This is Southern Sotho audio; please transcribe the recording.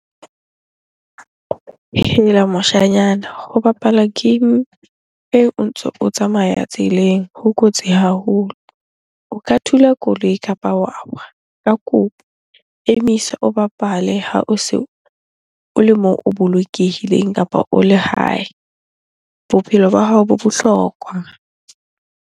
Hela moshanyana! Ho bapala game eo o ntso o tsamaya tseleng ho kotsi haholo. O ka thula koloi kapa wa wa. Ka kopo emisa o bapale ha o se o le mong o bolokehileng kapa o le hae. Bophelo ba hao bo bohlokwa.